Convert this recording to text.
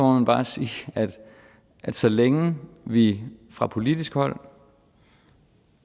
man bare sige at så længe vi fra politisk hold